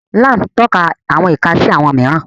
Liam tako awọn ika ika si awọn miiran